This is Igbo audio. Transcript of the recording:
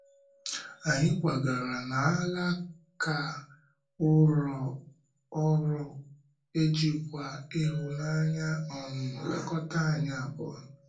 Anyị kwàgàrà n’álàka ụlọ ụlọ ọrụ, e jìkwa ịhụnanya um lekọta anyị abụọ.